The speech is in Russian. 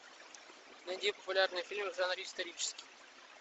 найди популярные фильмы в жанре исторический